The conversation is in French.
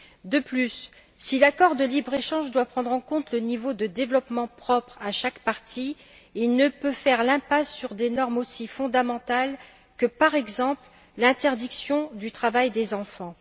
De plus, si l'accord de libre échange doit prendre en compte le niveau de développement propre à chaque partie, il ne peut faire l'impasse sur des normes aussi fondamentales que, par exemple, l'interdiction du travail des enfants.